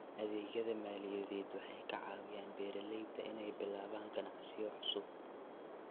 Adeegyada maaliyadeed waxay ka caawiyaan beeralayda inay bilaabaan ganacsiyo cusub.